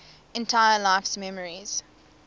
entire life's memories